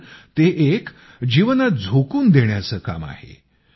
तर ते एक जीवनात झोकून देण्याचं काम आहे